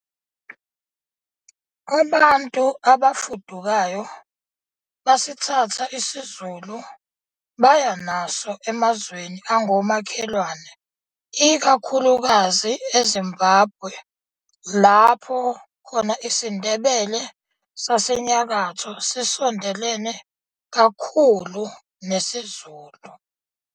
Abantu abafudukayo basithatha isiZulu baya naso emazweni angomakhelwane, ikakhulukazi eZimbabwe lapho khona isiNdebele saseNyakatho sisondelene kakhulu nesiZulu.